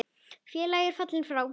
Félagi er fallinn frá.